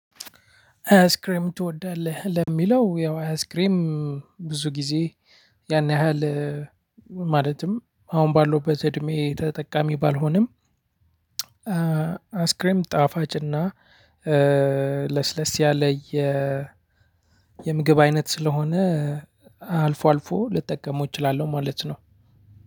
አይስክሬም ትወዳለህ ለሚለው ያው አይስክሬም ብዙ ጊዜ ያን ያህል ማለትም አሁን ባለሁበት እድሜ ተጠቃሚ ባልሆንም አይስክሬም ጣፋጭና ለስለስ ያለ የ የምግብ አይነት ስለሆነ አልፎ አልፎ ልጠቀመው እችላለሁ ማለት ነው።